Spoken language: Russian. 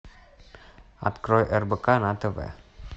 открой рбк на тв